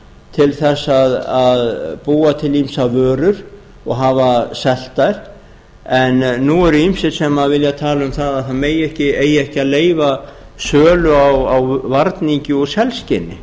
til þess að búa til ýmsar vörur og hafa selt þær en nú eru ýmsir sem vilja tala um að það eigi ekki að leyfa sölu á varningi úr selskinni